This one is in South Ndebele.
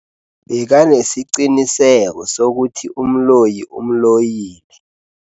Bekanesiqiniseko sokuthi umloyi umloyile.